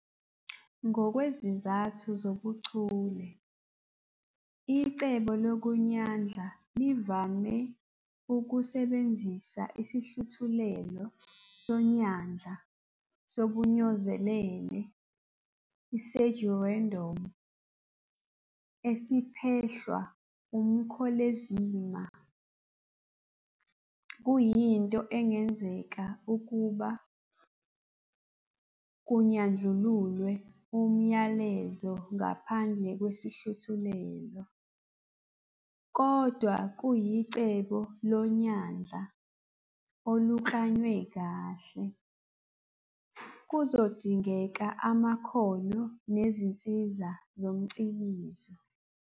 Ngokwezizathu zobuchule, icebo lokunyandla livame ukusebenzisa isihluthulelo sonyandla sobunyozelele, pseudo-random," esiphehlwa umkholezima. Kuyinto engenzeka ukuba kunyandlululwe umyalezo ngaphandle kwesihluthulelo, kodwa kuyicebo lonyandla oluklanywe kahle, kuzodingeka amakhono nezinsiza zomcikizo.